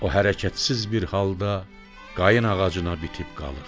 O hərəkətsiz bir halda qayna ağacına bitib qalır.